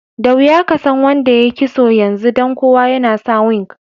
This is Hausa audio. Da wiya ka san wanda yayi kisso yanzu dan kowa yana sa wig.